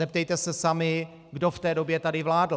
Zeptejte se sami, kdo v té době tady vládl.